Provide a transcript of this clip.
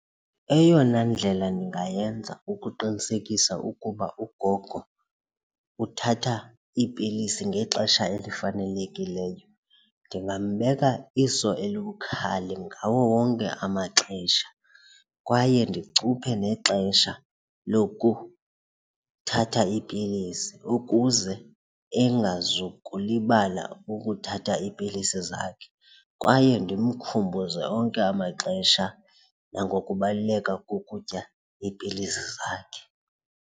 Eyona ndlela ndingayenza ukuqinisekisa ukuba ugogo uthatha iipilisi ngexesha elifanelekileyo ndingambeka iso elibukhali ngawo wonke amaxesha kwaye ndicuphe nexesha lokuthatha iipilisi ukuze engazukulibala ukuthatha iipilisi zakhe, kwaye ndimkhumbuze onke amaxesha nangokubaluleka kokutya iipilisi zakhe.